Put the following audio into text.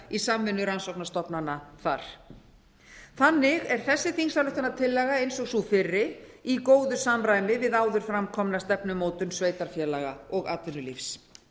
í samvinnu rannsóknastofnana þar þannig er þessi þingsályktunartillaga eins og sú fyrri í góðu samræmi við áður fram komna stefnumótun sveitarfélaga og atvinnulífs